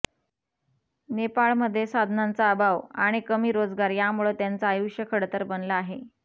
नेपाळमध्ये साधनांचा अभाव आणि कमी रोजगार यामुळे त्यांचं आयुष्य खडतर बनलं आहे